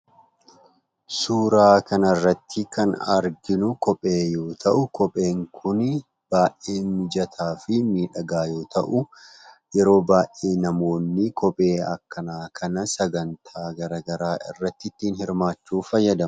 Suuraa kanarratti kan arginu kophee yoo ta'u, kopheen kun baay'ee mijataa fi miidhagaa yoo ta'u, yeroo baay'ee namoonni kophee akkanaa kana sagantaalee garaagaraa irratti hirmaachuuf fayyadamu.